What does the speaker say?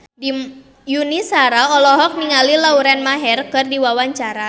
Yuni Shara olohok ningali Lauren Maher keur diwawancara